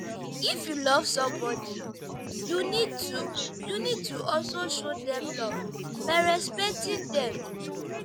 if you love somebodi you need to you need to also show dem love by respecting dem